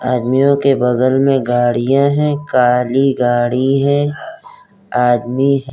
आदमियों के बगल मै गाड़िया हैं। काली गाड़ी है। आदमी --